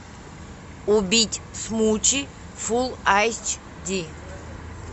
убить смучи фулл айч ди